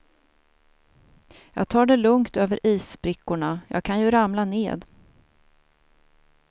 Jag tar det lugnt över issprickorna, jag kan ju ramla ned.